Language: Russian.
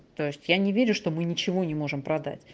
то есть я не верю что мы ничего не можем продать